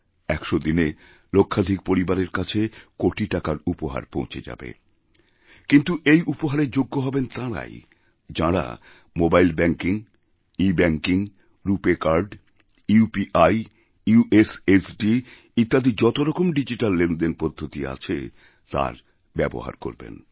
১০০ দিনে লক্ষাধিক পরিবারের কাছে কোটি টাকার উপহার পৌঁছে যাবে কিন্তু এই উপহারেরযোগ্য হবেন তাঁরাই যাঁরা mobile banking e banking RuPay card UPI USSD ইত্যাদি যত রকমডিজিট্যাল লেনদেন পদ্ধতি আছে তার ব্যবহার করবেন